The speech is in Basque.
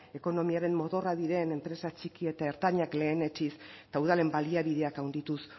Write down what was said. ekonomiaren motorra diren enpresa txiki eta ertainak lehenetsiz eta udalen baliabideak handituz